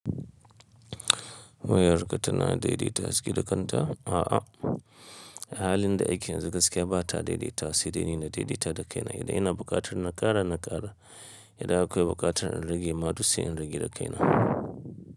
Miyar ka tana daidaita haske da kanta? A'a. A halin da ake yanzu gaskiya ba ta daidaita wa, sai dai ni na daidaita da kaina. Idan ina buƙatar na ƙara, na ƙara. Idan akwai buƙatar in rage ma duk sai in rage da kaina.